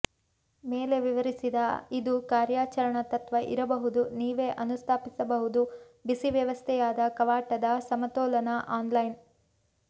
ಮೇಲೆ ವಿವರಿಸಿದ ಇದು ಕಾರ್ಯಾಚರಣಾ ತತ್ವ ಇರಬಹುದು ನೀವೇ ಅನುಸ್ಥಾಪಿಸಬಹುದು ಬಿಸಿ ವ್ಯವಸ್ಥೆಯಾದ ಕವಾಟದ ಸಮತೋಲನ ಆನ್ಲೈನ್